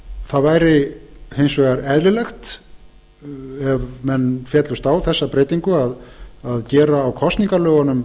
það væri hins vegar eðlilegt ef menn féllust á þessa breytingu að gera tvær í viðbót